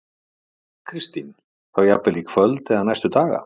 Kristín: Þá jafnvel í kvöld eða næstu daga?